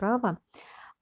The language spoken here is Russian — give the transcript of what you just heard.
права